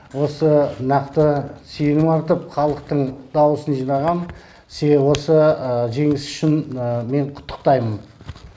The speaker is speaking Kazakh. осы нақты сенім артып халықтың даусын жинаған себебі осы жеңіс үшін мен құттықтаймын